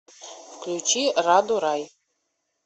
включи раду рай